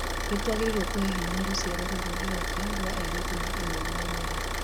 Nĩ tuagĩrĩirwo kũhe hinya rũciaro ruru rũroka rwa airĩtu na imwana nini.